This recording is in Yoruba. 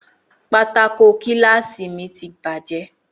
Pátákó kíláàsì mi ti bàjẹ́